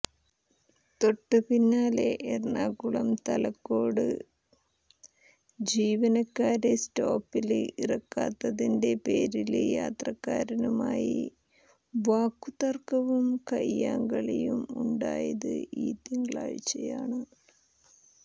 തൊട്ടുപിന്നാലെ എറണാകുളം തലക്കോട് ജീവനക്കാരെ സ്റ്റോപ്പില് ഇറക്കാത്തതിന്റെ പേരില് യാത്രക്കാരനുമായി വാക്കുതര്ക്കവും കൈയ്യാങ്കളിയും ഉണ്ടായത് ഈ തിങ്കളാഴ്ച്ചയാണ്